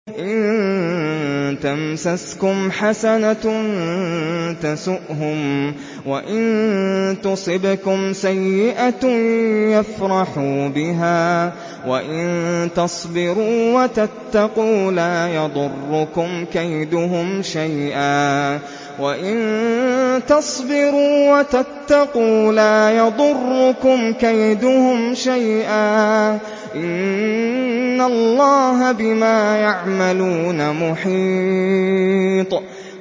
إِن تَمْسَسْكُمْ حَسَنَةٌ تَسُؤْهُمْ وَإِن تُصِبْكُمْ سَيِّئَةٌ يَفْرَحُوا بِهَا ۖ وَإِن تَصْبِرُوا وَتَتَّقُوا لَا يَضُرُّكُمْ كَيْدُهُمْ شَيْئًا ۗ إِنَّ اللَّهَ بِمَا يَعْمَلُونَ مُحِيطٌ